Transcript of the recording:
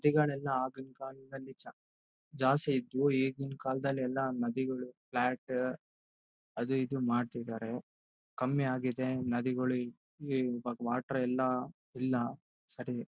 ನದಿಗಳು ಎಲ್ಲ ಆಗಿನ ಕಾಲದಲ್ಲಿ ನಿಜ ಜಾಸ್ತಿ ಇದ್ವು ಈಗಿನ ಕಾಲದಲ್ಲಿ ಎಲ್ಲ ನದಿಗಳು ಫ್ಲಾಟ್ ಅದು ಇದು ಮಾಡ್ತಿದ್ದಾರೆ ಕಮ್ಮಿಯಾಗಿದೆ ನದಿಗಳು ಈ ಈ ವ ವಾಟರ್ ಎಲ್ಲ ಇಲ್ಲ ಸಾರಿ .